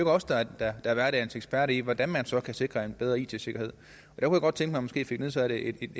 os der er er hverdagens eksperter i hvordan man så kan sikre en bedre it sikkerhed jeg kunne godt tænke mig måske fik nedsat et